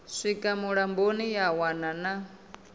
swika mulamboni ya wana na